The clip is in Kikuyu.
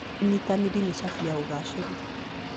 ũnyitanĩri nĩ cabi ya ũgcĩru.